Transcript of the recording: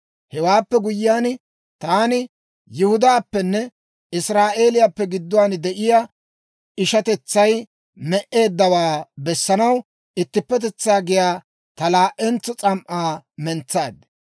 Hewaappe guyyiyaan, taani Yihudaappenne Israa'eeliyaappe gidduwaan de'iyaa ishatetsay me"eeddawaa bessanaw Ittippetetsaa giyaa ta laa"entso s'am"aa mentsaad.